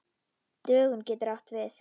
Dögun getur átt við